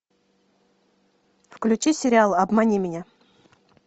включи сериал обмани меня